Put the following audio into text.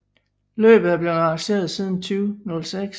Løbet er blevet arrangeret siden 2006